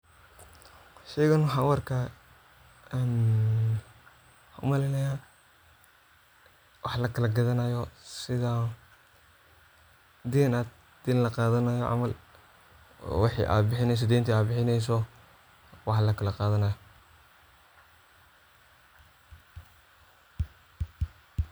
sheygan waxan u arkaa een umaleynaya wax lakala gadanayo sida dena in laqadanayo camal oo wixi ad bixineyso oo dentid ad bixineyso wax lakala qadanay